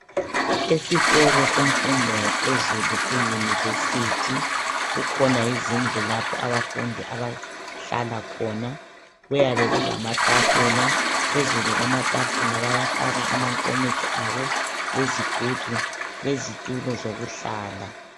Esikolo semfundo yaphezulu eunivesithi kukhona izindlu lapho abafundi abahlala khona kuyaba kulamatafula .Phezulu kwamatafula bayafaka amankomitsho abo ,lezigubhu lezitulo zokuhlala.